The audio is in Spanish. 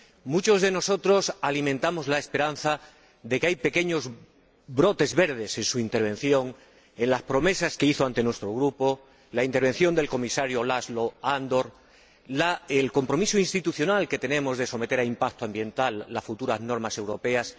Muchos de nosotros alimentamos la esperanza de que hay pequeños brotes verdes en su intervención, en las promesas que hizo ante nuestro Grupo, en la intervención del Comisario László Andor, en el compromiso institucional que tenemos de someter a impacto ambiental las futuras normas europeas.